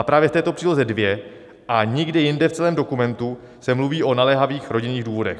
A právě v této příloze dvě a nikde jinde v celém dokumentu se mluví o naléhavých rodinných důvodech.